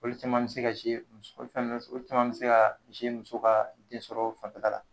Olu caman be se ka ka fɛn nunnu, olu caman be se ka muso ka den sɔrɔ fanfɛla la.